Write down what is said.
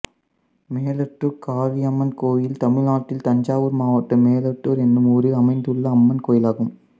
மெலட்டுர் காளியம்மன் கோயில் தமிழ்நாட்டில் தஞ்சாவூர் மாவட்டம் மெலட்டுர் என்னும் ஊரில் அமைந்துள்ள அம்மன் கோயிலாகும்